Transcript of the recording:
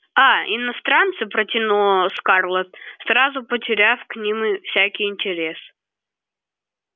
а иностранцы протянула скарлетт сразу потеряв к ним всякий интерес